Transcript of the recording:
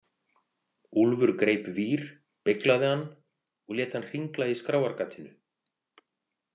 Úlfur greip vír, beyglaði hann og lét hann hringla í skrárgatinu.